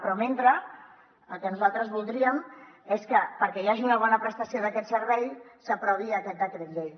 però mentrestant el que nosaltres voldríem és que perquè hi hagi una bona prestació d’aquest servei s’aprovi aquest decret llei